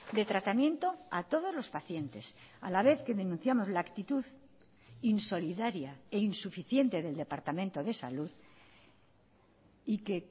de tratamiento a todos los pacientes a la vez que denunciamos la actitud insolidaria e insuficiente del departamento de salud y que